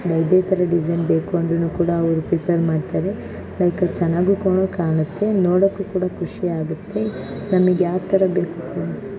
ಯಾವುದೇ ತರದ್ ಡಿಸೈನ್ ಬೇಕು ಅಂದ್ರುನು ಕೂಡ ಅವ್ರು ಪ್ರಿಪೇರ್ ಮಾಡ್ತಾರೆ ಲೈಕ್ ಚೆನ್ನಾಗೂ ಕೂಡ ಕಾಣುತ್ತೆ ನೋಡಕ್ಕೂ ಕೂಡ ಖುಷಿಯಾಗುತ್ತೆ ನಮಿಗ್ ಯಾವತರ ಬೇಕು.